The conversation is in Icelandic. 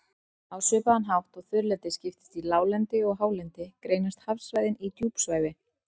Á svipaðan hátt og þurrlendið skiptist í láglendi og hálendi, greinast hafsvæðin í djúpsævi